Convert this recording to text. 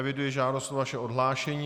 Eviduji žádost o vaše odhlášení.